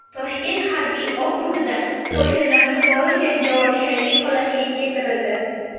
Toshkent harbiy okrugida qo‘shinlar yuqori jangovar shaylik holatiga keltirildi .